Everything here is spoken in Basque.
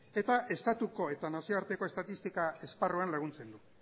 eta estatuko eta nazioarteko estatistika esparruan laguntzen du